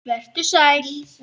Vertu sæl!